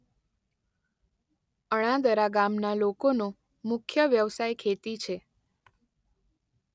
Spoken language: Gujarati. અણાદરા ગામના લોકોનો મુખ્ય વ્યવસાય ખેતી છે.